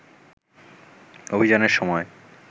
অভিযানের সময়